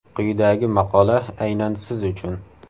Quyidagi maqola aynan siz uchun.